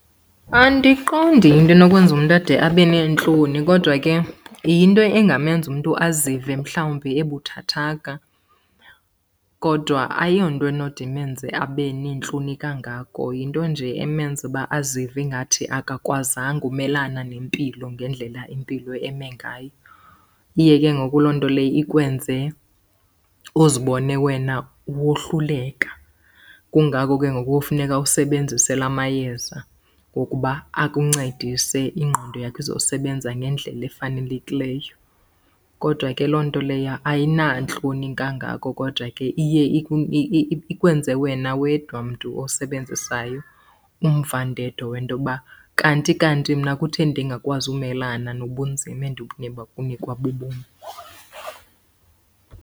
Andiqondi yinto enokwenza umntu ade abe neentloni kodwa ke yinto engamenza umntu azive mhlawumbi ebuthathaka. Kodwa ayonto enode imenze abe neentloni kangako, yinto nje emenza uba azive ingathi akakwazanga umelana nempilo ngendlela impilo eme ngayo. Iye ke ngoku loo nto leyo ikwenze uzibone wena wohluleka. Kungako ke ngoku kofuneka usebenzise la mayeza ngokuba akuncedise ingqondo yakho izosebenza ngendlela efanelekileyo. Kodwa ke loo nto leyo ayinantloni kangako kodwa ke iye ikwenze wena wedwa mntu osebenzisayo umvandedwa wento yoba kanti kanti mna kutheni ndingakwazi umelana nobunzima endibunikwa bubomi.